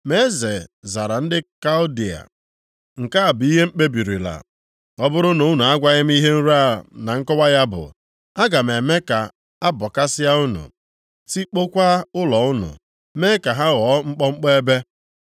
Ma eze zara ndị Kaldịa, “Nke a bụ ihe m kpebirila: Ọ bụrụ na unu agwaghị m ihe nrọ a na nkọwa ya bụ, aga m eme ka abọkasịa unu, tikpọkwa ụlọ unu, mee ka ha ghọọ mkpọmkpọ ebe.